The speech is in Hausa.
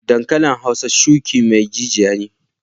Dankalin hausa shuki mai jijiya ne.